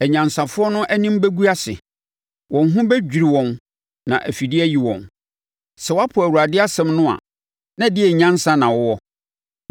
Anyansafoɔ no anim bɛgu ase; wɔn ho bɛdwiri wɔn na afidie ayi wɔn. Sɛ wɔapo Awurade asɛm no a, na ɛdeɛn nyansa na wɔwɔ?